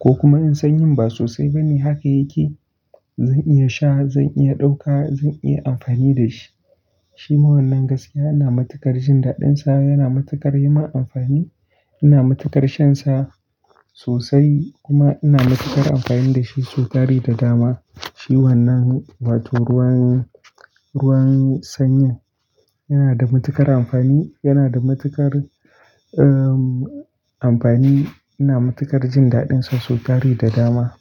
ko kuma in sanyin ba sosai bane haka yake, zan iya sha, zan iya ɗauka, zan iya amfani da shi. Shima wannan gaskiya ina matukar jin dadin sa yana matukar yimin amfani ina matukar shan sa sosai kuma ina matukar amfani dashi sau tari da dama. Shi wannan wato ruwan ruwan sanyin yana da matukar amfani yana da matukar ehm amfani ina matukar jin dadin sa sau tari da dama.